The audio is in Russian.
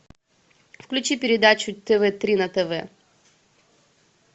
включи передачу тв три на тв